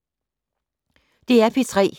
DR P3